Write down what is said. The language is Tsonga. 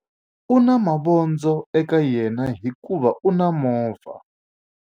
U na mavondzo eka yena hikuva u na movha.